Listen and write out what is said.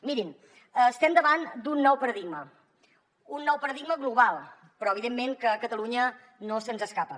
mirin estem davant d’un nou paradigma un nou paradigma global però evidentment que a catalunya no se’ns escapa